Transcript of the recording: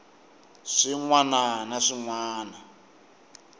swin wana na swin wana